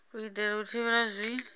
u itela u thivhela zwi